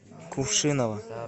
кувшиново